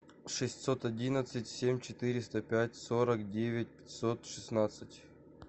шестьсот одиннадцать семь четыреста пять сорок девять пятьсот шестнадцать